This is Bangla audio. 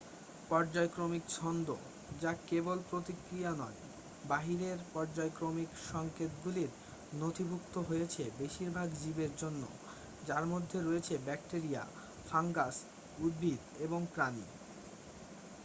পর্যায়ক্রমিক ছন্দ যা কেবল প্রতিক্রিয়া নয় বাহিরের পর্যায়ক্রমিক সংকেতগুলির নথিভুক্ত হয়েছে বেশিরভাগ জীবের জন্য যার মধ্যে রয়েছে ব্যাকটেরিয়া ফাঙ্গাস উদ্ভিদ এবং প্রাণী